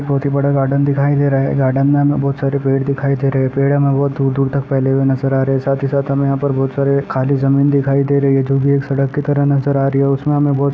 बहुत ही बड़ा गार्डन दिखाई दे रहा है| गार्डन मे हमे बहुत सारे पेड़ दिखाई दे रहे है| पेड़ हमे बहुत दूर दूर तक फैले हुए नजर आ रहे है| साथ ही साथ हमे बहुत सारी खाली जमीन दिखाई दे रही है जो भी एक सड़क की तरह नजर आ रही है| उसमे हमे बहुत --